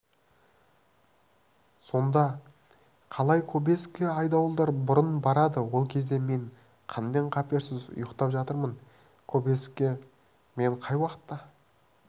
сонда қалай кобозевке айдауылдар бұрын барады ол кезде мен қаннен-қаперсіз ұйықтап жатамын кобозевке мен қай уақытта